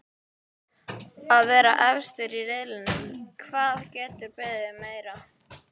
Að vera efstir í riðlinum, hvað geturðu beðið meira um?